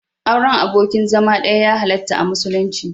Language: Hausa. Auren abokin zama ɗaya ya halarta a musulunci.